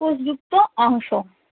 কোষযুক্ত অংশ।